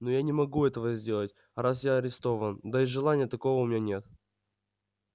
но я не могу этого сделать раз я арестован да и желания такого у меня нет